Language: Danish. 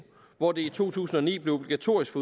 hvor det i to tusind og ni blev obligatorisk